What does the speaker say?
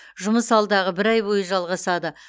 жұмыс алдағы бір ай бойы жалғасады